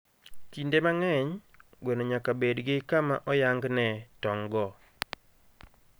Kinde mang'eny, gweno nyaka bed gi kama oyang ne tong'go.